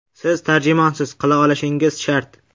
Siz tarjimonsiz, qila olishingiz shart.